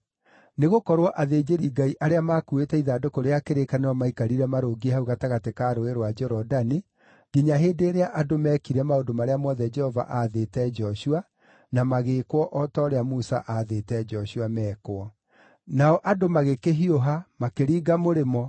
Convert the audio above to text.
Nĩgũkorwo athĩnjĩri-Ngai arĩa maakuuĩte ithandũkũ rĩa kĩrĩkanĩro maikarire marũngiĩ hau gatagatĩ ka Rũũĩ rwa Jorodani nginya hĩndĩ ĩrĩa andũ meekire maũndũ marĩa mothe Jehova aathĩte Joshua, na magĩĩkwo o ta ũrĩa Musa aathĩte Joshua mekwo. Nao andũ magĩkĩhiũha, makĩringa mũrĩmo,